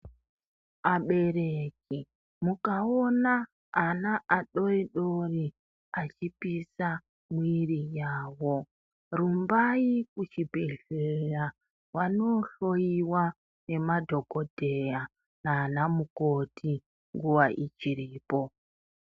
Abereki mukaona ana adodori achipisa mwiri yawo rumbai kuchibhedhleya vandohloyiwa ngemadhokodheya nanamukoti nguwa ichiripo.